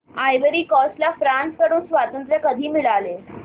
ivory Coast ला France कडून स्वातंत्र्य कधी मिळाले